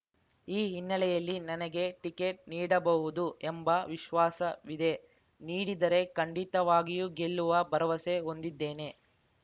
ಈ ಹಿನ್ನೆಲೆಯಲ್ಲಿ ನನಗೆ ಟಿಕೆಟ್‌ ನೀಡಬಹುದು ಎಂಬ ವಿಶ್ವಾಸವಿದೆ ನೀಡಿದರೆ ಖಂಡಿತವಾಗಿಯೂ ಗೆಲ್ಲುವ ಭರವಸೆ ಹೊಂದಿದ್ದೇನೆ